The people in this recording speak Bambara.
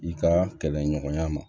I ka kɛlɛɲɔgɔnya ma